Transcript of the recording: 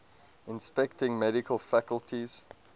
inspecting medical facilities